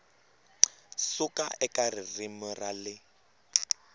suka eka ririmi ra le